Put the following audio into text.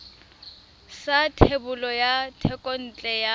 sa thebolo ya thekontle ya